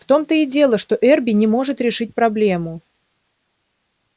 в том-то и дело что эрби не может решить проблему